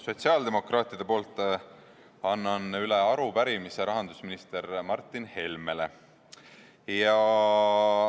Sotsiaaldemokraatliku Erakonna fraktsiooni nimel annan üle arupärimise rahandusminister Martin Helmele.